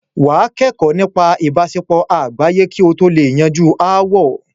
wà á kẹ́kọ̀ọ́ nípa ìbáṣepọ̀ àgbáyé kí o lè yanjú ááwọ̀.